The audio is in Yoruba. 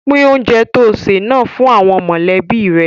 Pín oúnjẹ tó ṣè náà fún àwọn mọ̀lẹ́bí rẹ